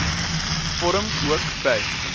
vorm ook by